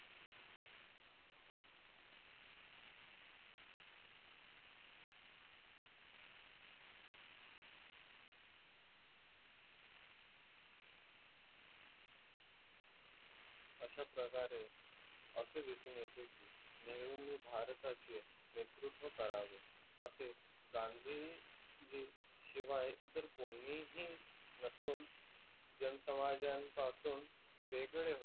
अश्या प्रकारे असे दिसून येते की नेहरू ने भारताचे नेतृत्व करावे असे गांधीजी शिवाय इतर कोणीही नसून जन समाज्यान पासून वेगळे होतो.